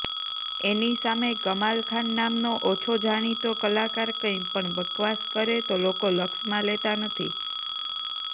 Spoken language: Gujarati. એની સામે કમાલખાન નામનો ઓછો જાણીતો કલાકાર કંઈ પણ બકવાસ કરે લોકો લક્ષમાં લેતા નથી